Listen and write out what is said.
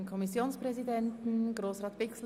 Der Kommissionspräsident wünscht das Wort nochmals.